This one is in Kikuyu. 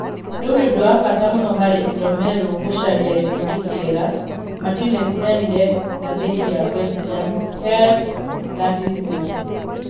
'Rĩu nĩ ũndũ wa bata mũno harĩ Rumelu gũcaria gĩkundi kĩega,'' Martinez erire ngathĩti ya Belgium, Het Laatste Nieuws.